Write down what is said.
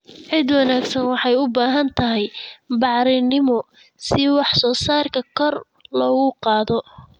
Ciid wanaagsan waxay u baahan tahay bacrimin si wax soo saarka kor loogu qaado.